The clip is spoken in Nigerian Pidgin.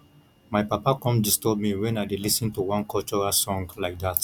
my papa come disturb me wen i dey lis ten to one cultural song like dat